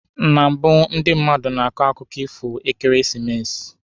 Na mbụ ndị mmadụ na-akọ akụkọ ifo n'ekeresimesi.